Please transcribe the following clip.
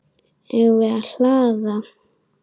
Eigum við að hlaða?